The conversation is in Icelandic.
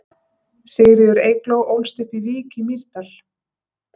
Sigríður Eygló ólst upp í Vík í Mýrdal.